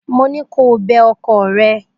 Mo ní kó o bẹ ọkọ rẹ!